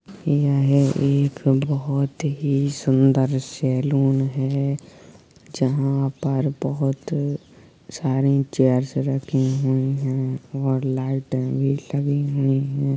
ये एक बहुत ही सुंदर सैलून है जहाँ पर बहुत सारे चेयर्स रखी हुई हैं और लाइटें भी लगी हुई हैं।